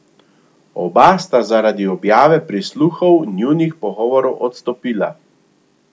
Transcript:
Oba sta zaradi objave prisluhov njunih pogovorov odstopila.